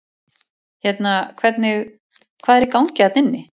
Hérna hvernig, hvað er í gangi þarna inni?